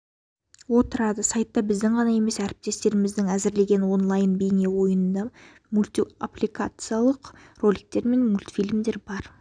отырады сайтта біздің ғана емес әріптестеріміздің әзірлеген де онлайн бейнеойыны мульптипликациялық роликтер мен мультфильмдер бар